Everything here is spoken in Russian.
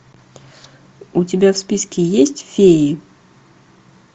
у тебя в списке есть феи